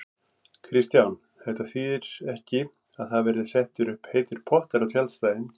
Kristján: Þetta þýðir ekki að það verði settir upp heitir pottar á tjaldstæðin?